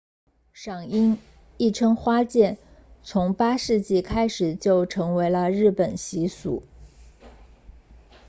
赏樱亦称花见 ”hanami 从8世纪开始就成为了日本习俗